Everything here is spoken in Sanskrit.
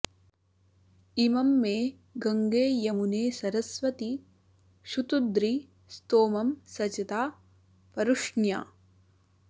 इ॒मं मे॑ गङ्गे यमुने सरस्वति॒ शुतु॑द्रि॒ स्तोमं॑ सचता॒ परु॒ष्ण्या